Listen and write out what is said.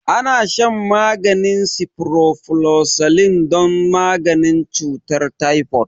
Ana shan maganin ciprofloxacin don maganin cutar typhoid